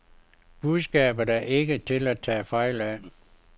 Budskabet er ikke til at tage fejl af.